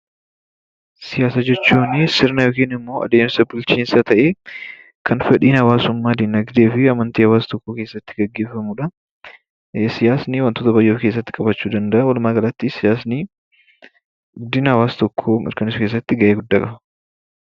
Siyaasa jechuunii sirna yookiin immoo adeemsa bulchiinsa ta'ee kan fedhiin hawaasummaa, diinagdee fi amantii hawaasa tokkoo keessatti geggeeffamuu dha. Siyaasni wantoota baay'ee of keessatti qabachuu danda'a. Walumaagalatti, siyaasni guddina hawaasa tokkoo mirkaneessuu keessatti gahee guddaa qaba.